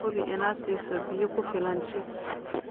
Hubi inaad siiso biyo kugu filan chicks.